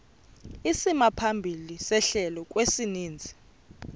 isimaphambili sehlelo kwisininzi